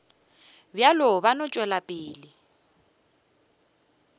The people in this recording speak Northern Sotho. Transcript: bjalo ba no tšwela pele